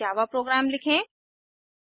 संकेत ifएल्से if statement का प्रयोग करें